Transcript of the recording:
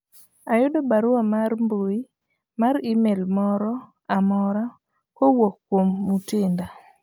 ayudo barua mar mbui mar email moro amora kowuok kuom Mutinda